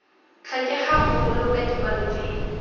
tlhokegang go boloka dikwalo tse